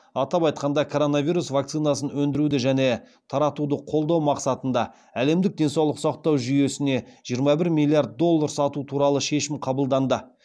атап айтқанда коронавирус вакцинасын өндіруді және таратуды қолдау мақсатында әлемдік денсаулық сақтау жүйесіне жиырма бір миллиард доллар салу туралы шешім қабылданды